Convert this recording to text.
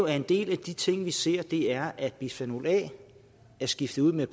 en del af de ting vi ser er at bisfenol a er skiftet ud med